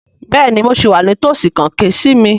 Bẹ́ẹ̀ni mo sì wà ní tòsí kàn ké sí mi